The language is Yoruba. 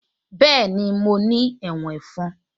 Bẹ́ẹ̀ni mo ní ẹ̀wọ̀n ẹ̀fọn